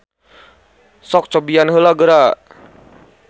Sok cobian heula geura.